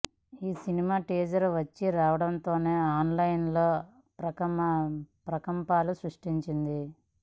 ఈ సినిమా టీజర్ వచ్చీరావడంతోనే ఆన్ లైన్ లో ప్రకంపనలు సృష్టించింది